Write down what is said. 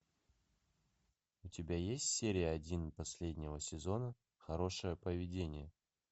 у тебя есть серия один последнего сезона хорошее поведение